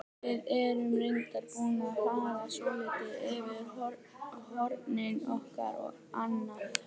Við erum reyndar búin að fara svolítið yfir hornin okkar og annað.